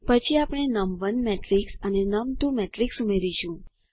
પછી આપણે નમ1 મેટ્રિક્સ અને નમ2 મેટ્રિક્સ ઉમેરીશું